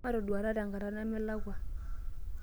Matoduata tenkata nemelakua.